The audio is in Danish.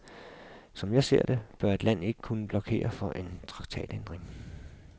Som jeg ser det, bør et land ikke kunne blokere for en traktatændring.